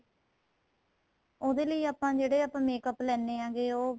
ਉਹਦੇ ਲਈ ਆਪਾਂ ਜਿਹੜੇ ਆਪਾਂ makeup ਲੈਣੇ ਹੈਗੇ ਉਹ